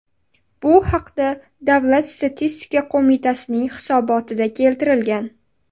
Bu haqda Davlat statistika qo‘mitasining hisobotida keltirilgan .